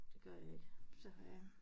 Det gør jeg ikke så